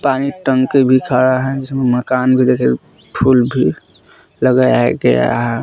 पानी टंकी भी खड़ा है जिसमें मकान भी फुल भी लगाया गया हैं।